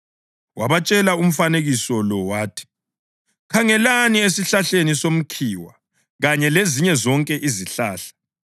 Wabatshela umfanekiso lo wathi, “Khangelani esihlahleni somkhiwa kanye lezinye zonke izihlahla.